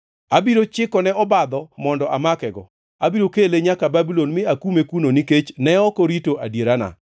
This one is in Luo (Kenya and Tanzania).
Abiro chikone obadho mondo amakego. Abiro kele nyaka Babulon mi akume kuno nikech ne ok orito adierana.